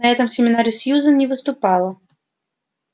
на этом семинаре сьюзен не выступала